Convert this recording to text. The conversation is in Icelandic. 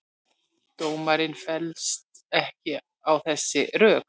Dómarinn fellst ekki á þessi rök